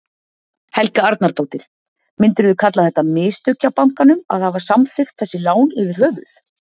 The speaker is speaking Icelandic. Helga Arnardóttir: Myndirðu kalla þetta mistök hjá bankanum að hafa samþykkt þessi lán yfir höfuð?